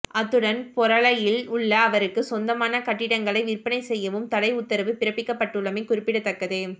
அத்துடன் பொரளையில் உள்ள அவருக்கு சொந்தமான கட்டிடங்களை விற்பனை செய்யவும் தடை உத்தரவு பிறப்பிக்கப்பட்டுள்ளமை குறிப்பிடத்தக்கது